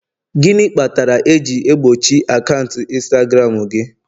gịnị kpatara eji egbochi akaụntụ Instagram gị?